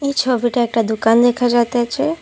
ছবিটায় একটা দুকান দেকা যাতেছে।